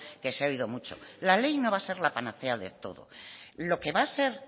que se ha oído mucho la ley no va a ser la panacea de todo lo que va a ser